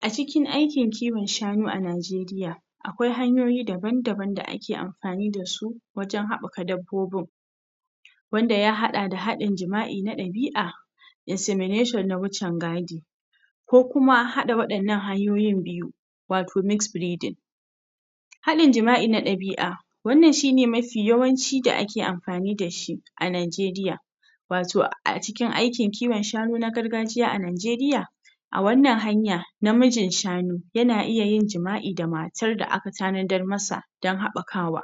a cikin aikin kiwon shanu a Nigeria akwai hanayoyi daba-daban da ake amfani dasu wajen haɓaka dabbobin wanda ya haɗa da haɗin jima'i na ɗabi'a issemnation na wucin gadi ko kuma haɗa waɗannan hanyoyin biyu wato mixfreeding haɗin jima'i na ɗabi'a wannan shine mafi yawanci da ake amfani dashi a Nigeria wato a cikin aikin kiwon shanu na gargajiya a Nigeria a wannan hanya namijin shanu yana iyayin jima'i da matar da aka tanadar masa don haɓakawa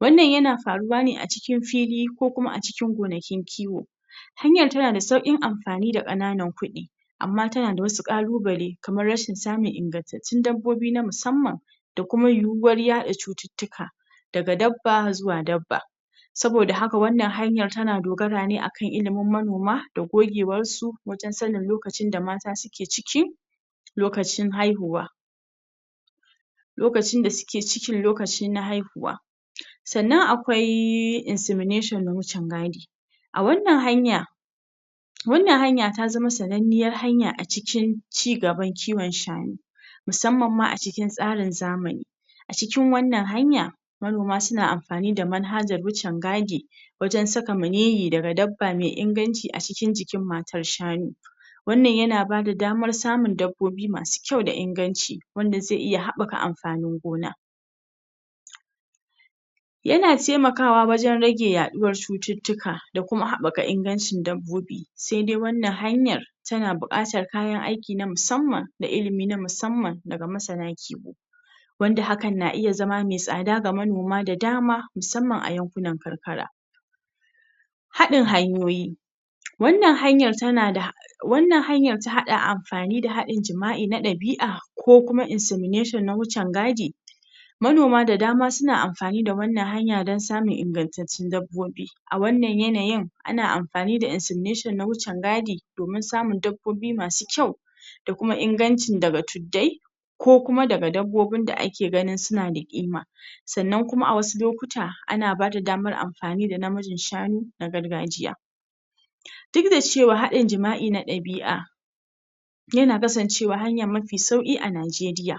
wannan yana faruwa ne a cikin fili ko kuma a cikin gonakin kiwo hanyar tanada saukin amfani da ƙananan kuɗi amma tanada wasu ƙalubale kamar rashin samun ingantattun dabbobi na musaman da kuma yiwuwar yaɗa cututtuka daga dabba zuwa dabba saboda haka wannan hanyar tana dogara ne akan ilimin manoma da gogewarsu wajen sanin lokacin da mata suke ciki lokacin haihuwa lokacinda suke cikin lokachi na haihuwa sannan akwai insemnation na wucin gadi a wannan hanya wannan hanya ta zama sannaniyar hanya a cikin ci gaban kiwon shanu musamman ma acikin tsarin zamani a cikin wannan hanya manoma suna amfani da manhajar wucin gadi wajen saka maniyyi daga dabba mai inganci a cikin jikin matar shanu wannan yana bada damar samun dabbobi masu kyau daa inganci wanda zai iya haɓaka amfanin gona yana taimakawa wajen rage yaɗuwar cututtuka da kuma haɓɓaka ingancin dabbobi saidai wannan hanyar tana buƙatar kayan aiki na musaman da ilimi na musamman daga masana kiwo wanda hakan na iya zama mai tsada ga manoma da dama musamman a yankunan karkara haɗin hanyoyi wannan hanyar tanada wannan hanyar ta haɗa amfani da haɗin jima'i na ɗabi'a ko kuma insemnation na wucin gadi manoma da dama suna amfani da wannan hanya don samun ingantaccen dabbobi a wannan yanayin ana amfani da insemnation na wucin gadi domin samun dabbobi masu kyau da kuma ingancin daga tuddai ko kuma daga dabbobin da ake ganin sunada ƙima sannan kuma a wasu lokuta ana bada damar amfani da namijin shanu na gargajiya duk da cewa haɗin jima'i na ɗabi'a yana kasancewahanya mafi sauƙi a Nigeria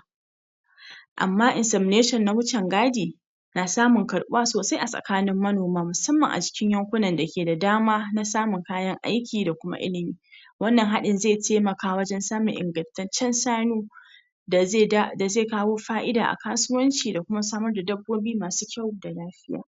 amma insemnation na wucin gadi na samun karɓuwa sosai a tsakanin manoma musamman a cikin yankunan dake da dama naa samun kayan aiki da kuma ilimi wannan haɗin zai taimaka wajen samun ingantaccen sanu dazai da, dazai kawo fa'ida a kasuwanci da kuma samarda dabbobi masu kyau da lafiya